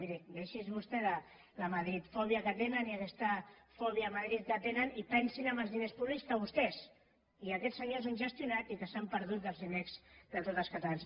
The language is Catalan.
miri deixi’s vostè de la madridofòbia que tenen i aquesta fòbia a madrid que tenen i pensi en els diners públics que vostès i aquests senyors han gestionat i que s’han perdut dels diners de tots els catalans